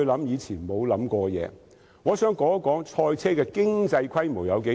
主席，我想談談賽車的經濟規模有多大。